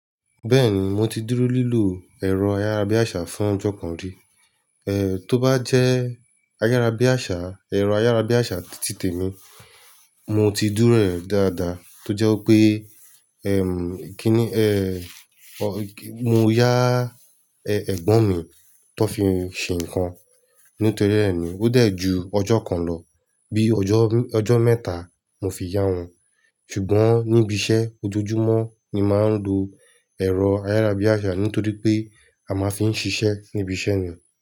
Bẹ́ẹ̀ni, mo ti dúró lílo ẹ̀rọ ayárabíàṣá fún ọjọ́ kan rí. Eh, tó bá jẹ́ ayárabíàṣá, ẹ̀rọ ayárabíàṣá ti tèmi, mo ti dúró rẹ̀ dáadáa tó jẹ́ wípé, ẹm, kíni, eh, mo yá, ẹ, ẹ̀gbọ́n mi tó fi ń ṣe ǹkan. Nítorí rẹ̀ ni ó dẹ̀ ju ọjọ́ kan lọ. Bí ọjọ́, ọjọ́ mẹ́ta mo fi yá won. Ṣùgbọ́n níbi iṣẹ́ ojoojúmọ́ ni máa ń lo ẹ̀rọ ayárabíàṣá nítorí pé a máa ń fi ń ṣiṣẹ́ níbi iṣẹ́ ni.